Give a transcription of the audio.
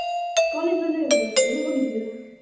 College ರಜೆಯಾ ಇವತ್ತು, ಹೋಗಿದೀಯ?